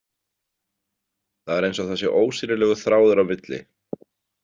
Það er eins og það sé ósýnilegur þráður á milli.